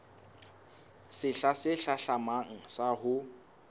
sehla se hlahlamang sa ho